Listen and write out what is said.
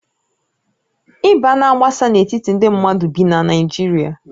Ịba na-agbasa n'etiti ndị mmadụ bi na Naijiria